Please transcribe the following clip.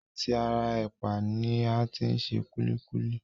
À ti ara ẹ̀pà ni a ti se kúlíkúlí